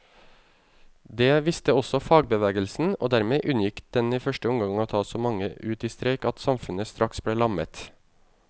Det visste også fagbevegelsen, og dermed unngikk den i første omgang å ta så mange ut i streik at samfunnet straks ble lammet.